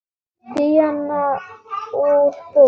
Díana úr bók.